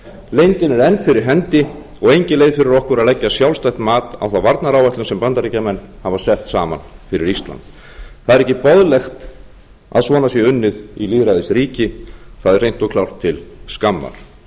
leyndin er enn fyrir hendi og engin leið fyrir okkur að leggja sjálfstætt mat á þá varnaráætlun sem bandaríkjamenn hafa sett saman fyrir ísland það er ekki boðlegt að svona sé unnið í lýðræðisríki það er hreint og klárt til skammar